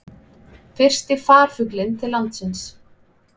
Fyrsti farfuglinn til landsins